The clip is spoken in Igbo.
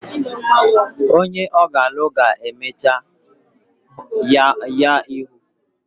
Onye ọ ga-alụ ga-emechu ya ihu